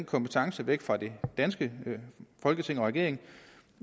kompetence væk fra det danske folketing og regering